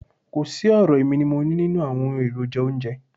Kò sí ọ̀rọ̀ èmi ni mo nií nínú àwọn èròjà oúnjẹ.